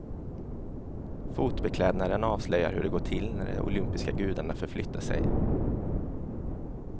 Fotbeklädnaden avslöjar hur det går till när de olympiska gudarna förflyttar sig.